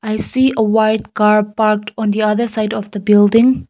i see a white car parked on the other side of the building.